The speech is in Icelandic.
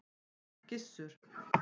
Gissur